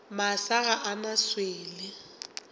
masa ga a na swele